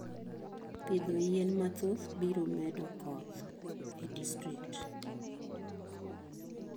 Pitho yien mathoth biro medo koth e distrikt.